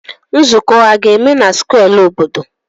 Nzuko a ga-eme na square obodo?